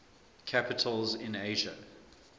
capitals in asia